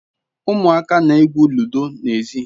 Umuaka na-egwu ludo na ezi